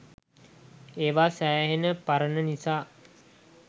ඒවා සෑහෙන පරණ නිසා